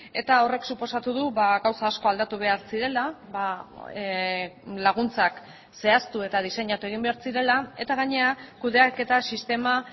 eta horrek suposatu du gauza asko aldatu behar zirela laguntzak zehaztu eta diseinatu egin behar zirela eta gainera kudeaketa sistema